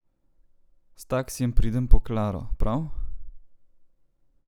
S taksijem pridem po Klaro, prav?